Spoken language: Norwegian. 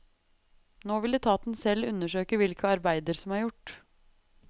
Nå vil etaten selv undersøke hvilke arbeider som er gjort.